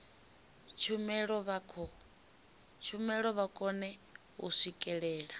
tshumelo vha kone u swikelela